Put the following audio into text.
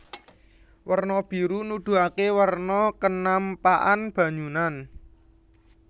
Werna biru nuduhaké werna kenampakan banyunan